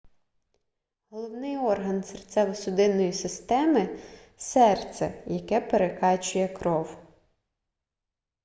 головний орган серцево-судинної системи серце яке прокачує кров